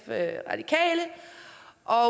og